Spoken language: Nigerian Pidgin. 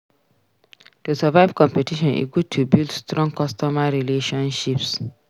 To survive competition e good to build strong customer relationships.